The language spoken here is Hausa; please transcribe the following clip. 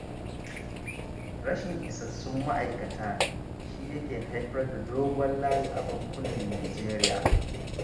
Rashin isassun ma'aikata shi yake haifar da dogon layi a bankunan Nijeriya